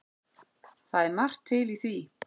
Það er margt til í því.